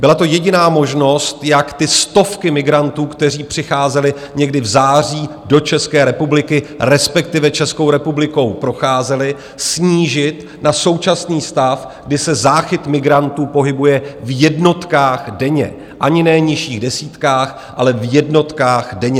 Byla to jediná možnost, jak ty stovky migrantů, kteří přicházeli někdy v září do České republiky, respektive Českou republikou procházeli, snížit na současný stav, kdy se záchyt migrantů pohybuje v jednotkách denně - ani ne nižších desítkách, ale v jednotkách denně.